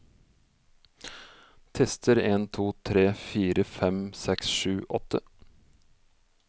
Tester en to tre fire fem seks sju åtte